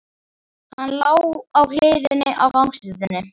Hann lá á hliðinni á gangstéttinni.